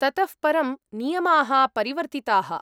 ततः परं नियमाः परिवर्तिताः।